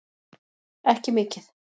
Ekki mikið.